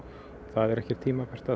það er ekki tímabært